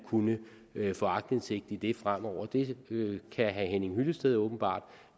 kunne få aktindsigt i det fremover det kan herre henning hyllested åbenbart